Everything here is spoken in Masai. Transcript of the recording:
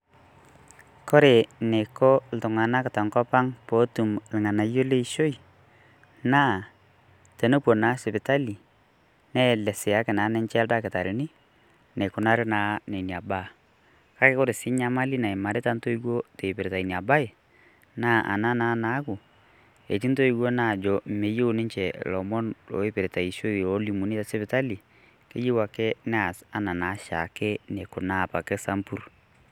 Kore neiko ltung'anak to nkopang' pootum ilng'anako le ishoi, naa tenopoo na sipitali neleseaki naa ninchee ildaktarini neikunari naa nenia baaya. Kaki kore sii nyamali naimarita ntoiwuo teepirta enia baayi naa ana naa naaku etii ntoiwuo naajo meiyeu ninchee lomon loipirta ishoi olimun te sipitali keiyeu ake nees naa shaake neikunaa apake samburr.